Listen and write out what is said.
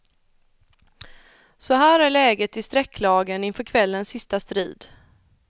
Så här är läget i strecklagen inför kvällens sista strid.